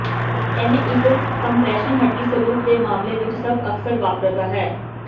ਇਹ ਇੱਕ ਕੰਪਰੈਸ਼ਨ ਹੱਡੀ ਸਰੂਪ ਦੇ ਮਾਮਲੇ ਵਿੱਚ ਸਭ ਅਕਸਰ ਵਾਪਰਦਾ ਹੈ